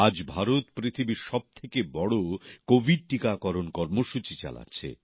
আজ ভারত পৃথিবীর সবথেকে বড় কোভিড টিকাকরণ কর্মসূচী চালাচ্ছে